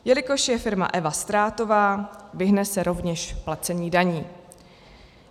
Jelikož je firma Eva ztrátová, vyhne se rovněž placení daní.